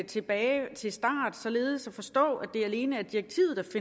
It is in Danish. tilbage til start således at forstå at det alene